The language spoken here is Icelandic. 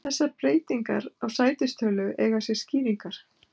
Þessar breytingar á sætistölu eiga sér skýringar.